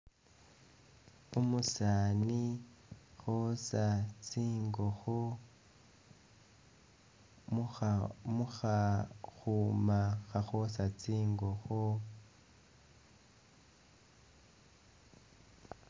Umusaani khoosa tsingokho mukha mukha..khuma khakhoosa tsingokho